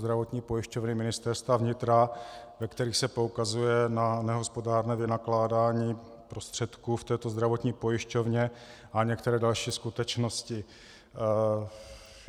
Zdravotní pojišťovny Ministerstva vnitra, ve kterých se poukazuje na nehospodárné vynakládání prostředků v této zdravotní pojišťovně a některé další skutečnosti.